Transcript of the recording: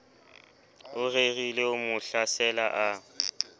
o rerileho mo hlasela a